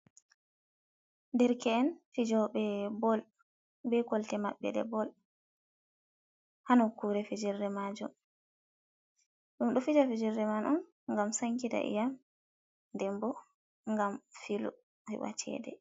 Derke'en fijoɓe bol, be kolte mabɓe ɗe bol, ha nokkure fijirde majum, ɗum ɗo fija fijirde man'on ngam sankita iƴ'am, ndenbo ngam filu heɓa ceede.